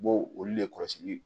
U bɔ olu le kɔlɔsi